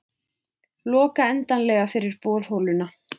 Loka endanlega fyrir borholuna